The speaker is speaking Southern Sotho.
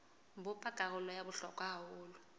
bopa karolo ya bohlokwa haholo